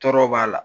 Tɔɔrɔ b'a la